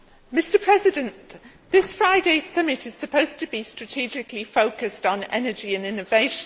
Mr President, this Friday's summit is supposed to be strategically focused on energy and innovation.